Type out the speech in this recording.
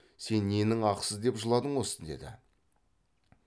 сен ненің ақысы деп жыладың осы деді